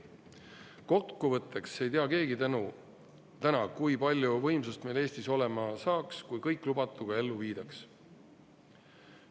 Kokkuvõtteks ei tea keegi täna, kui palju võimsust meil Eestis olema saaks, kui kõik lubatu ka ellu viidaks.